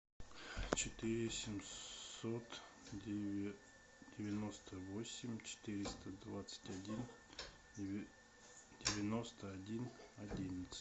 четыре семьсот девяносто восемь четыреста двадцать один девяносто один одиннадцать